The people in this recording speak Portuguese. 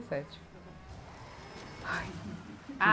sete. Ai, Ah